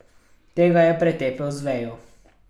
Tega je pretepel z vejo.